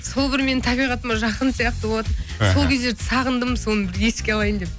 сол бір менің табиғатыма жақын сияқты болатын іхі сол кездерді сағындым соны бір еске алайын деп